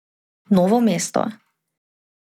Novo mesto.